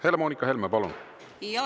Helle-Moonika Helme, palun!